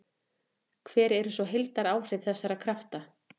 Hver eru svo heildaráhrif þessara krafta?